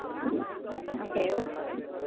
okay એવું છે.